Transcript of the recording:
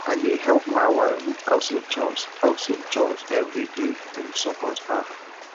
i dey help my wife with household chores household chores every day to support her